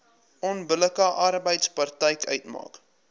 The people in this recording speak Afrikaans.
onbillike arbeidspraktyk uitmaak